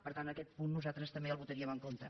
per tant aquest punt nosaltres també el votaríem en contra